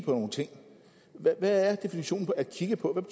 nogle ting hvad er definitionen på at kigge på